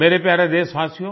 मेरे प्यारे देशवासियो